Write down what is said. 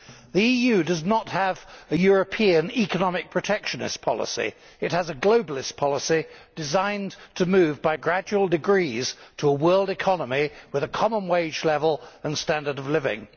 The EU does not have a European economic protectionist policy. It has a globalist policy designed to move by gradual degrees to a world economy with a common wage level and standard of living.